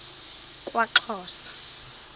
kwaxhosa